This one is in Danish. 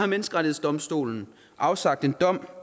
menneskerettighedsdomstolen har afsagt en dom